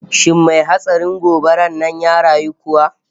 Shin mai hatsarin gobarar nan ya rayu kuwa?